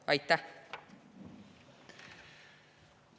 Aitäh!